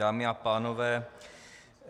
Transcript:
Dámy a pánové,